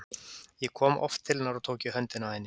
Ég kom oft til hennar og tók í höndina á henni.